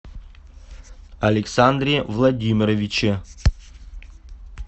александре владимировиче